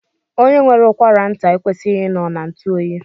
Onye nwere ụkwara nta ekweghi I nọ na ntuoyi.